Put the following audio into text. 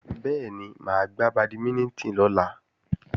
Bẹ́ẹ̀ni, máa gbá bàdímínítìn lọ́la